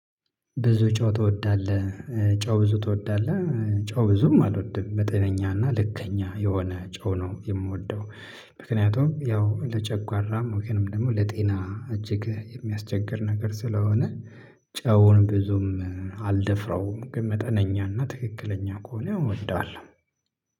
ብዙ ጨው ትወዳለህ ጨው ብዙ ትወዳለህ? ጨው ብዙም አልወድም በጤነኛና ልከኛ የሆነ ጨው ነው የምወደው። ምክንያቱም ያው ለጨጓራም ወገንም ደግሞ ለጤና እጅግ የሚያስቸግር ነገር ስለሆነ ጨውን ብዙም አልደፍራውም ግን መጠነኛ እና ትክክለኛ ከሆነ እወዳለሁ